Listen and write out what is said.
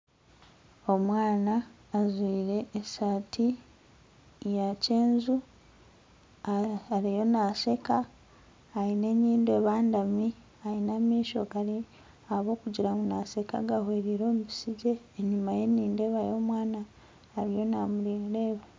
Omwana ajwaire esaati yakyeenju ariyo nasheka aine enyindo ebandami aine amaisho ahabwokugira ngu nasheka gahwereire omubisigye enyumaye nindeebayo omwana ariyo namureeba